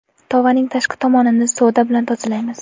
Tovaning tashqi tomonini soda bilan tozalaymiz.